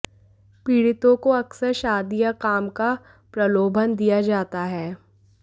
पीड़ितों को अक्सर शादी या काम का प्रलोभन दिया जाता है